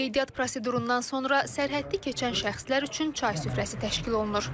Qeydiyyat prosedurundan sonra sərhəddi keçən şəxslər üçün çay süfrəsi təşkil olunur.